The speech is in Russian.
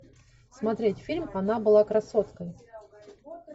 смотреть фильм она была красоткой